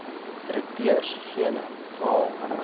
direkteur gene raal